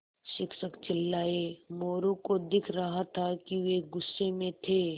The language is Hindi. शिक्षक चिल्लाये मोरू को दिख रहा था कि वे गुस्से में थे